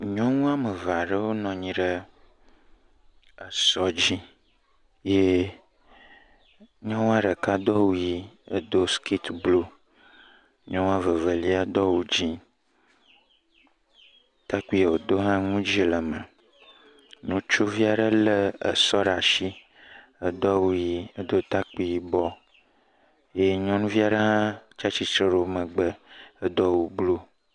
Nyɔnu woame eve aɖewo nɔ anyi ɖe esɔdzi yee nyɔnua ɖeka do awu yii edo skiti bluu. Nyɔnu vevelia do awu dzẽ, takpuia wòdo hã nu dzẽ le eme. Nutsuvi aɖe lé esɔ ɖaa ashi edo awu yii, edo takpui yibɔ yee nyɔnuvi aɖe hã tsa tsitsre ɖe wo megbe edo awu bluu.